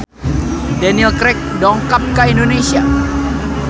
Daniel Craig dongkap ka Indonesia